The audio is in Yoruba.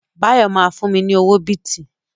Báyọ̀ ma fún mi ní owó bìtì